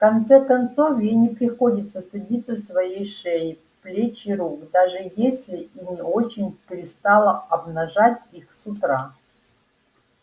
в конце концов ей не приходится стыдиться своей шеи плеч и рук даже если и не очень пристало обнажать их с утра